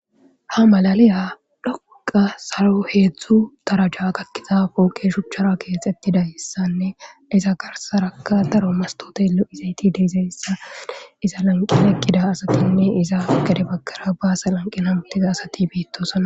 Ha malaliya dhoquqa salo heedzdzu taraja gakkiza pooqe shuchchara keexettidayssanne isa garsaraka daro mastote lo'izayti diizayssa iza lanqina eqqida asatinne iza gade bakara baasa lanqin hamutiza asati beittosana.